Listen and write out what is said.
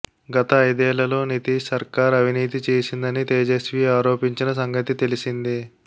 గత ఐదేళ్లలో నితీశ్ సర్కార్ అవినీతి చేసిందని తేజస్వీ ఆరోపించిన సంగతి తెలిసిందే